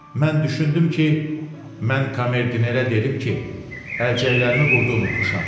Mən düşündüm ki, mən komerdinerə dedim ki, əlcəklərimi burda unutmuşam.